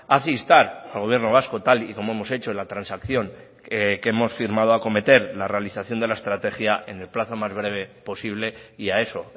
hace instar al gobierno vasco tal y como hemos hecho en la transacción que hemos firmado a cometer la realización de la estrategia en el plazo más breve posible y a eso